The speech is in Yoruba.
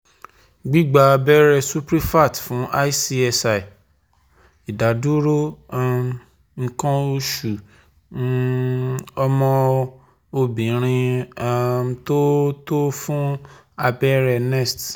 Gbigba abẹrẹ suprefact fun ICSI, idaduro um ikan osu um omo obirin, um to to fun abẹrẹ nest